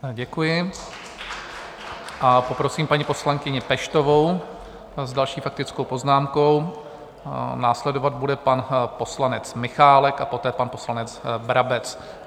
Děkuji a poprosím paní poslankyni Peštovou s další faktickou poznámkou, následovat bude pan poslanec Michálek a poté pan poslanec Brabec.